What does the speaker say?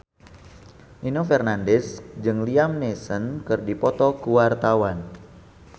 Nino Fernandez jeung Liam Neeson keur dipoto ku wartawan